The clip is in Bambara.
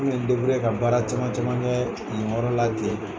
Kun bɛ n deburiye ka baara caman caman kɛ yen yɔrɔ la ten